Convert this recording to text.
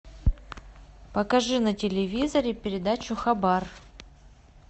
покажи на телевизоре передачу хабар